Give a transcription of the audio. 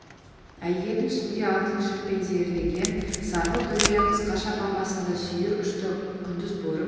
әйелдің үстінде алтын жіппен зерлеген сарғылт дүрия қысқа шапан басында сүйір ұшты құндыз бөрік